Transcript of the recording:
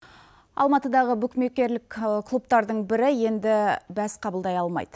алматыдағы букмекрлік клубтардың бірі енді бәс қабылдай алмайды